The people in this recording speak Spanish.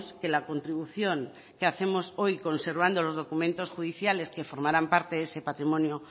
que la contribución que hacemos hoy conservando los documentos judiciales que formarán parte de ese patrimonio